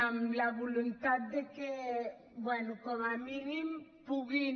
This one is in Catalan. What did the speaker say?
amb la voluntat de que bé com a mínim puguin